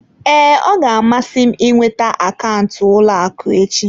Ee, ọ ga-amasị m ịnweta akaụntụ ụlọ akụ echi.